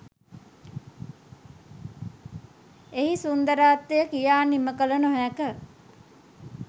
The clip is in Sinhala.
එහි සුන්දරත්වය කියා නිමකළ නොහැක